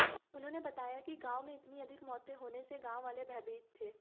उन्होंने बताया कि गांव में इतनी अधिक मौतें होने से गांव वाले भयभीत थे